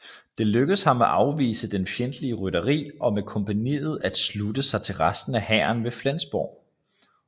Det lykkedes ham at afvise det fjendtlige rytteri og med kompagniet at slutte sig til resten af hæren ved Flensborg